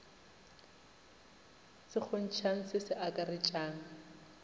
se kgontšhang se se akaretšang